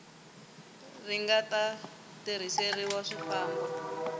ri nga ta tirhiseriwa swifambo